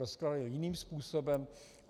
Rozkrájeli jiným způsobem.